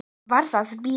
Varð að bíða.